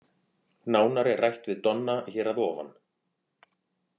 Nánar er rætt við Donna hér að ofan.